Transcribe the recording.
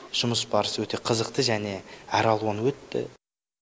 жұмыс барысы өте қызықты және әралуан өтті